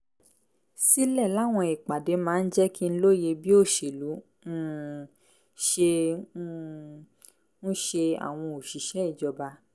sílẹ̀ láwọn ìpàdé máa ń jẹ́ kí n lóye bí òṣèlú um ṣe um ń ṣe àwọn òṣìṣẹ́ ìjọba